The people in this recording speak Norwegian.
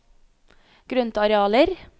grøntarealer